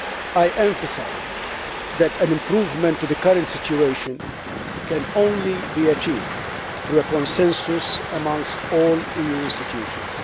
I emphasise that an improvement in the current situation can only be achieved through consensus amongst all EU institutions.